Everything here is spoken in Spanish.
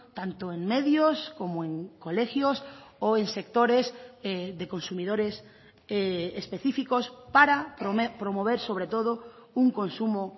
tanto en medios como en colegios o en sectores de consumidores específicos para promover sobre todo un consumo